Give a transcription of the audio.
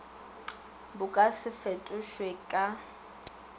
bo ka se fetošwe ka